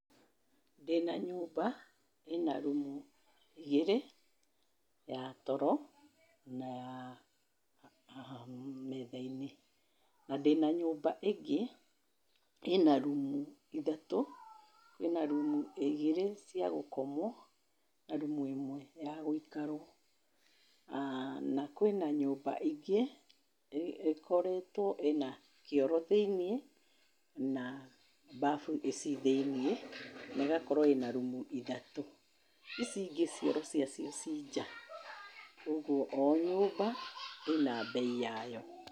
Ndĩna nyũmba ina rũmũ igĩrĩ, ya toro na ya metha~inĩ. Na ndĩna nyũmba ingĩ ina rũmũ ithatũ; ĩna rũmũ igĩrĩ cia gũkomwo na rũmũ ĩmwe ya gũikarwo. Na kũĩna nyũmba ingĩ, ikoretwo ina kioro thĩ~inĩ na mbabũ ci thĩ~inĩ na igakorwo ina rũmũ ithatũ. Ici ĩngĩ cioro cia cio ci nja. ũgwo o nyũmba ĩna mbei yayo.